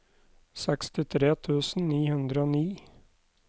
sekstitre tusen ni hundre og ni